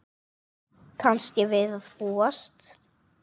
Kannski við að búast.